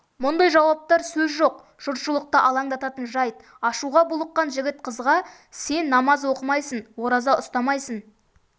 мұндай жауаптар сөз жоқ жұртшылықты алаңдататын жайт ашуға булыққан жігіт қызға сен намаз оқымайсың ораза ұстамайсың